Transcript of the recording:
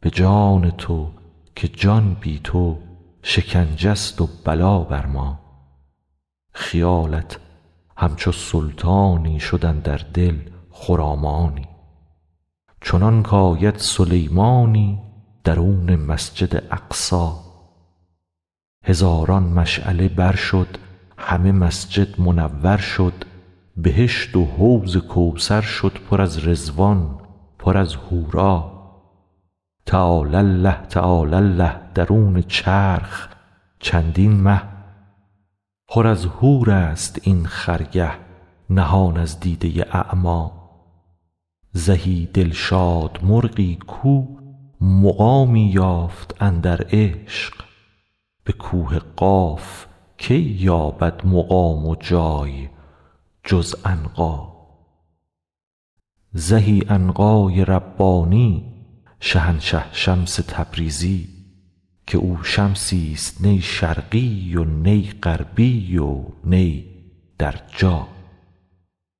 به جان تو که جان بی تو شکنجه ست و بلا بر ما خیالت همچو سلطانی شد اندر دل خرامانی چنانک آید سلیمانی درون مسجد اقصی هزاران مشعله بر شد همه مسجد منور شد بهشت و حوض کوثر شد پر از رضوان پر از حورا تعالی الله تعالی الله درون چرخ چندین مه پر از حورست این خرگه نهان از دیده اعما زهی دلشاد مرغی کو مقامی یافت اندر عشق به کوه قاف کی یابد مقام و جای جز عنقا زهی عنقای ربانی شهنشه شمس تبریزی که او شمسی ست نی شرقی و نی غربی و نی در جا